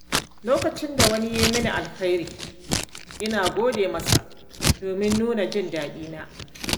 Lokacin da wani ya yi mini alheri, ina gode masa domin nuna jin daɗina.